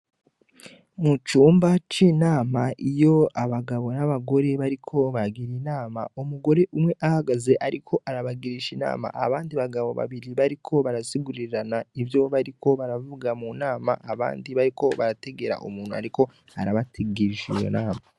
Mu cumba c'inama iyo abagabo n'abagore bariko bagira inama umugore umwe ahagaze ariko arabagirisha inama, abandi bagabo babiri bariko barasigurirana ivyo bariko baravuga mu nama, abandi bariko barategera umuntu ariko arabagirisha iyo nama.